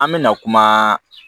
An mɛna kuma